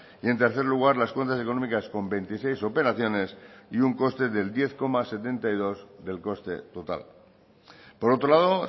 y en tercer lugar las cuentas económicas con veintiséis operaciones y un coste del diez coma setenta y dos del coste total por otro lado